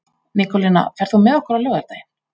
Nikólína, ferð þú með okkur á laugardaginn?